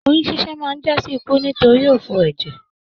Oyún ṣiṣẹ máa n jasi ikú nitori òfò ẹjẹ.